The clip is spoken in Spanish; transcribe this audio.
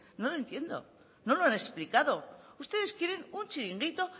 no lo entiendo no lo han explicado ustedes quieren un chiringuito